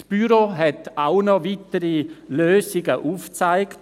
Das Büro hat auch noch weitere Lösungen aufgezeigt.